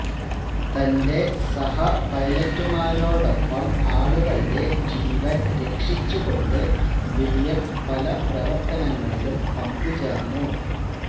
തന്റെ സഹ പൈലറ്റുമാരോടൊപ്പം ആളുകളുടെ ജീവൻ രക്ഷിച്ചുകൊണ്ട് വില്യം പല പ്രവർത്തനങ്ങളിലും പങ്കുചേർന്നു